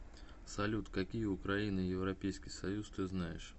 салют какие украина и европейский союз ты знаешь